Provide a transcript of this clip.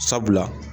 Sabula